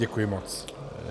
Děkuji moc.